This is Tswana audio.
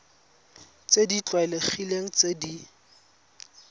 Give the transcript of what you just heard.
tse di tlwaelegileng tse di